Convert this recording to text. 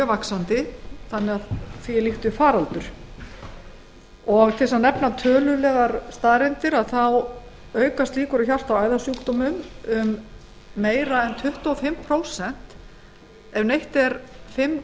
vaxandi og er líkt við faraldur til þess að nefna tölulegar staðreyndir aukast líkur á hjarta og æðasjúkdómum um meira en tuttugu og fimm prósent ef neytt er fimm